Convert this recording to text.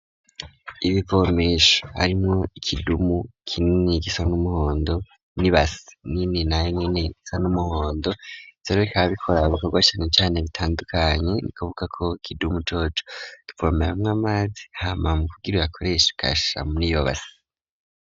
Ibivormesho harimwo ikidumu kinini kisa n'umuhondo nibas nini naye neni gisa n'umuhondo isobe kabikoraba bikorwa cane cane bitandukanye ni kuvuga ko kidumu coco diformera hamw amazi hama mu kubigirura koresha kasa muri iyo base.